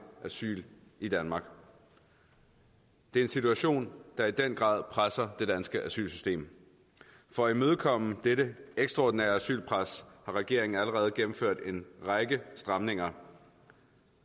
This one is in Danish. asyl i danmark det er en situation der i den grad presser det danske asylsystem for at imødekomme dette ekstraordinære asylpres har regeringen allerede gennemført en række stramninger